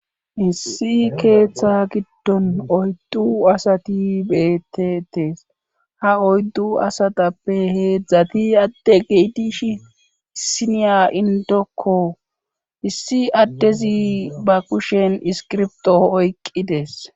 issi keeththa giddon oyddu asati beettetes ha oyddu asatappe heedzdzati ade geitish iniya indokko issi addezi ba kushen iskirbto oyqqidees